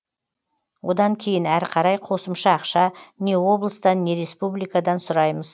одан кейін әрі қарай қосымша ақша не облыстан не республикадан сұраймыз